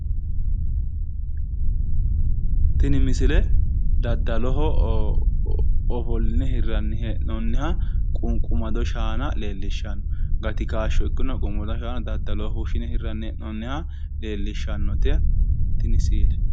Tini misile daddaloho ofoline hirranni hee'noonniha qunqumado shaana leellishshanno gati kaashsho ikkinoha qomoda shaana daddaloho fushshine hirranni hee'noonnita leellishshannote tini siile